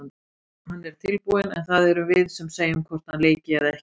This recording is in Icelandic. Hann er tilbúinn en það erum við sem segjum hvort hann leiki eða ekki.